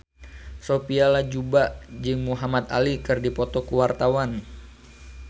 Sophia Latjuba jeung Muhamad Ali keur dipoto ku wartawan